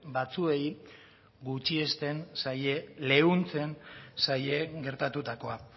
batzuei gutxiesten zaie leuntzen zaie gertatutakoa